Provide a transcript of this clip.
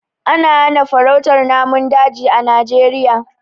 Ana hana farautar namun daji a Najeriya.